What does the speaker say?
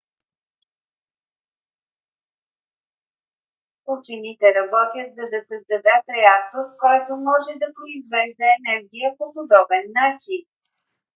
учените работят за да създадат реактор който може да произвежда енергия по подобен начин